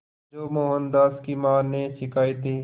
जो मोहनदास की मां ने सिखाए थे